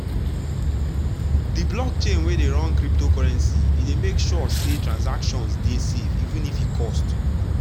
de blockchain wey dey run cryptocurrency e dey make sure say transaction dey safe even if e cost.